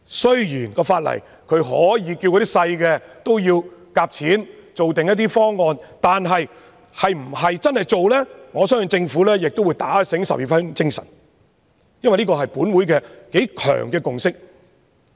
雖然法例訂明，可以要求小型銀行推行集資的方案，但是否真正落實，我相信政府也會打醒十二分精神，因為這是本會頗強烈的共識。